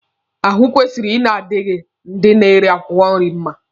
Ahụ kwesịrị ị na-adi ndị na-ere akwụkwọ nri mma.